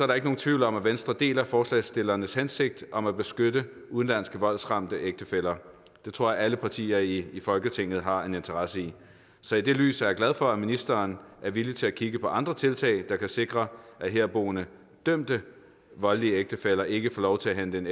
der ikke nogen tvivl om at venstre deler forslagsstillernes hensigt om at beskytte udenlandske voldsramte ægtefæller det tror jeg alle partier i folketinget har en interesse i så i det lys er jeg glad for at ministeren er villig til at kigge på andre tiltag der kan sikre at herboende dømte voldelige ægtefæller ikke får lov til at hente en